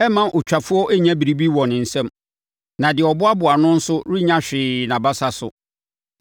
Ɛremma otwafoɔ nya biribi wɔ ne nsam, na deɛ ɔboaboa ano nso renya hwee nʼabasa so.